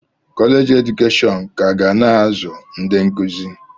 Kọleji edukeshọn ka ga na-azụ ndị nkụzi.